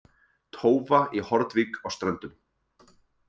Tófa í Hornvík á Ströndum.